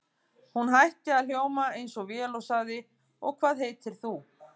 Hún hætti að hljóma eins og vél og sagði: Og hvað heitir þú?